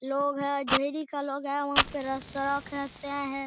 लोग है ढ़ेरी का लोग है वहाँ पे रस्सा हैं।